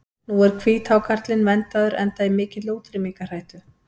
Nú er hvíthákarlinn verndaður enda í mikilli útrýmingarhættu.